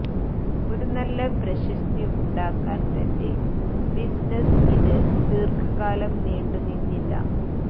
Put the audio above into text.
ഒരു നല്ല പ്രശസ്തി ഉണ്ടാക്കാൻ തന്റെ ബിസിനസ്സിന് ഇത് ദീർഘകാലം നീണ്ടുനിന്നില്ല